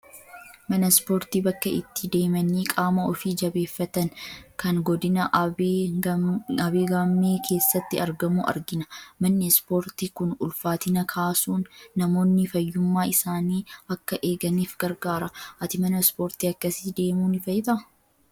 Mana ispoortii bakka itti deemanii qaama ofii jabeeffatan, kan godina Abee Gaammee keessatti argamu argina. Manni ispoortii kun ulfaatina kaasuun namoonni fayyummaa isaanii akka eeganiif gargaara. Ati mana ispoortii akkasii deemuu ni feetaa?